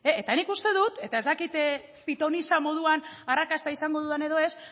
eta nik uste dut eta ez dakit pitonisa moduan arrakasta izango dudan edo ez